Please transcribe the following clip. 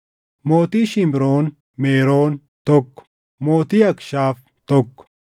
mootii Shimroon Meroon, tokko mootii Akshaaf, tokko